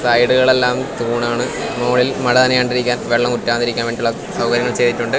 സൈഡുകൾ എല്ലാം തൂണാണ് മോളിൽ മഴ നനയാണ്ട് ഇരിക്കാൻ വെള്ളം ഊറ്റാതെ ഇരിക്കാൻ വേണ്ടിയിട്ടുള്ള സൗകര്യങ്ങൾ ചെയ്തിട്ടുണ്ട്.